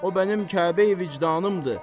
O mənim Kəbəyi vicdanımdır.